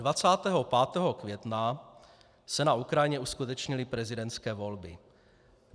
Dne 25. května se na Ukrajině uskutečnily prezidentské volby.